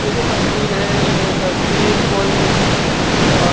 ये जो तस्वीर है ये तस्वीर कोई अ --